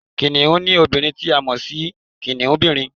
Kìnìún ni obìnrin ti a mọ̀ si kìnìúnbìrin